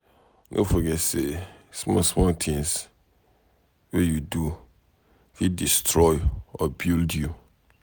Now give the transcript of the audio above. No forget say small small things wey you do fit destroy or build you.